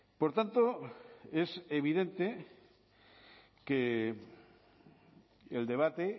por tanto es evidente que el debate